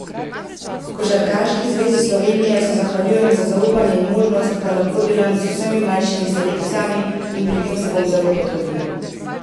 Košarkarski zvezi Slovenije se zahvaljujem za zaupanje in možnost, da lahko delam z vsemi mlajšimi selekcijami in pri tem se bom zelo potrudil.